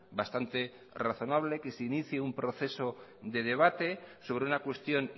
bastante razonable que se inicie un proceso de debate sobre una cuestión